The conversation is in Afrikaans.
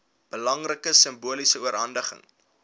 belangrike simboliese oorhandiging